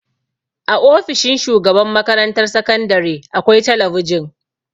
A ofishin shugaban makarantar sakandare akwai talabijin.